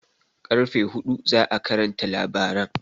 Ƙarfe huɗu za'a karanta labaran